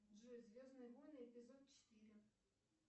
джой звездные войны эпизод четыре